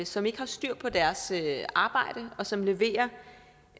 som ikke har styr på deres arbejde og som leverer